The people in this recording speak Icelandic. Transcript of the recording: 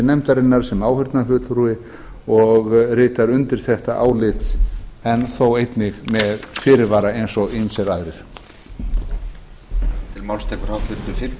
nefndarinnar sem áheyrnarfulltrúi og ritar undir þetta álit en þó einnig með fyrirvara eins og ýmsir aðrir